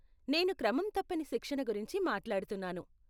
నేను క్రమంతప్పని శిక్షణ గురించి మాట్లాడుతున్నాను.